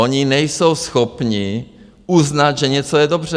Oni nejsou schopni uznat, že něco je dobře.